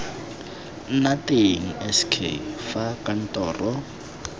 nna teng sk fa kantoro